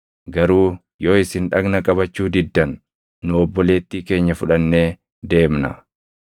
Garuu yoo isin dhagna qabachuu diddan nu obboleettii keenya fudhannee deemna.”